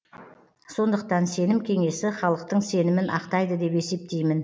сондықтан сенім кеңесі халықтың сенімін ақтайды деп есептеймін